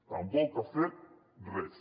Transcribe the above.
tampoc ha fet res